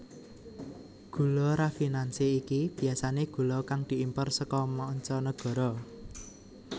Gula rafinansi iki biyasané gula kang diimpor saka manca nagara